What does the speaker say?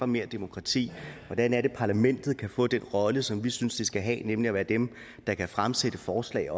mere demokrati hvordan kan parlamentet få den rolle som vi synes det skal have nemlig at være dem der kan fremsætte forslag